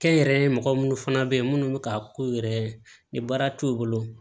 Kɛnyɛrɛye mɔgɔ munnu fana be yen munnu be ka k'u yɛrɛ ni baara t'u bolo